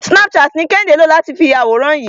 Snapchat ni Kẹ́hìndé lò láti fi ya àwòrán yìí.